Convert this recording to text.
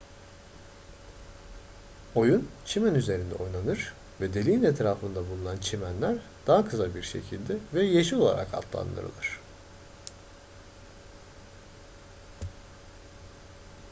oyun çimen üzerinde oynanır ve deliğin etrafında bulunan çimenler daha kısa bir şekilde ve yeşil olarak adlandırılır